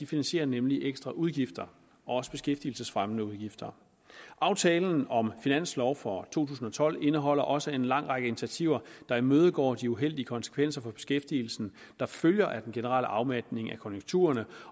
finansierer nemlig ekstra udgifter også beskæftigelsesfremmende udgifter aftalen om finansloven for to tusind og tolv indeholder også en lang række initiativer der imødegår de uheldige konsekvenser for beskæftigelsen der følger af den generelle afmatning af konjunkturerne